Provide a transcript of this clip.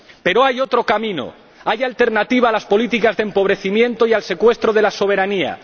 Pero hay otro camino, hay alternativa a las políticas de empobrecimiento y al secuestro de la soberanía.